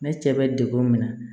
Ne cɛ bɛ degun min na